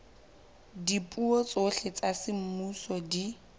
dipuo tsohle tsa semmuso di